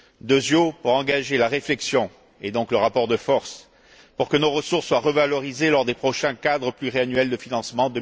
Secundo, pour engager la réflexion, et donc le rapport de force, pour que nos ressources soient revalorisées lors des prochains cadres pluriannuels de financement